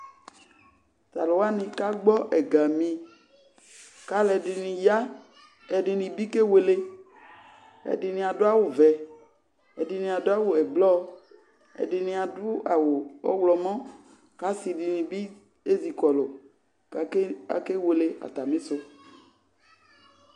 Tʋ alʋ wanɩ kagbɔ ɛgami kʋ alʋ ɛdɩnɩ ya, ɛdɩnɩ bɩ kewele, ɛdɩnɩ adʋ awʋ vɛ, ɛdɩnɩ adʋ awʋ ɛblɔ, ɛdɩnɩ adʋ awʋ ɔɣlɔmɔ kʋ asɩ dɩnɩ bɩ ezikɔlʋ kʋ akewele atamɩsʋ